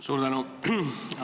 Suur tänu!